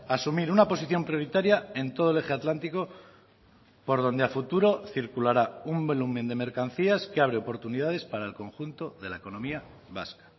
a asumir una posición prioritaria en todo el eje atlántico por donde a futuro circulará un volumen de mercancías que abre oportunidades para el conjunto de la economía vasca